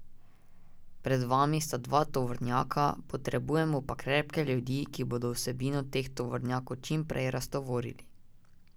Pred vami sta dva tovornjaka, potrebujemo pa krepke ljudi, ki bodo vsebino teh tovornjakov čim prej raztovorili.